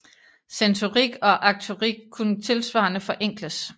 Sensorik og aktorik kunne tilsvarende forenkles